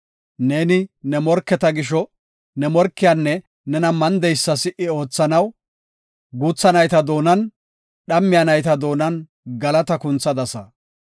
Neeni ne morketa gisho ne morkiyanne nena mandeysa si77i oothanaw, guutha nayta doonan dhammiya nayta doonan galata kunthadasa.